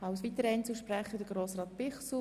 Als weiterer Einzelsprecher Grossrat Bichsel.